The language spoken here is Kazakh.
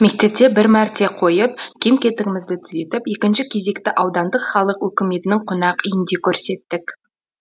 мектепте бір мәрте қойып кем кетігімізді түзетіп екінші кезекті аудандық халық өкіметінің қонақ үйінде көрсеттік